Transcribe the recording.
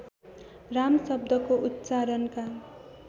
राम शब्दको उच्चारणका